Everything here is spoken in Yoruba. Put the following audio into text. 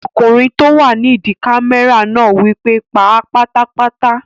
Ọkùnrin tó wà nídi kámẹ́rà náà wí pé "pa á pátápátá!"